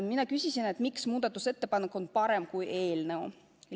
Mina küsisin, miks muudatusettepanek on parem kui eelnõus kirjas olev.